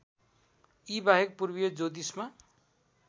यीबाहेक पूर्वीय ज्योतिषमा